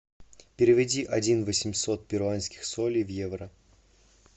переведи один восемьсот перуанских солей в евро